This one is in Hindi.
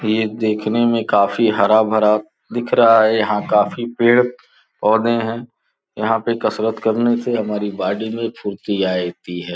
ये देखने में काफी हरा भरा दिख रहा है यहां काफी पेड़ पौधे हैं यहां पे कसरत करने से हमारी बॉडी में फुर्ती आए ती है।